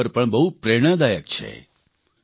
આ ખબર પણ બહુ પ્રેરણાદાયક છે